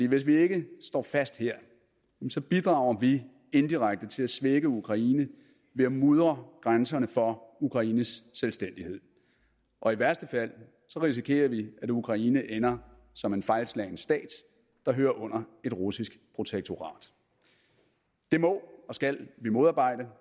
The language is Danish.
hvis vi ikke står fast her bidrager vi indirekte til at svække ukraine ved at mudre grænserne for ukraines selvstændighed og i værste fald risikerer vi at ukraine ender som en fejlslagen stat der hører under et russisk protektorat det må og skal vi modarbejde